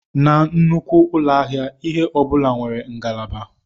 Na nnukwu ụlọ ahịa, ihe ọ bụla nwere ngalaba.